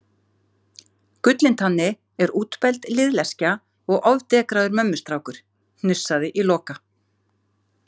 Gullintanni er útbelgd liðleskja og ofdekraður mömmustrákur, hnussaði í Loka.